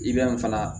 I bɛ fana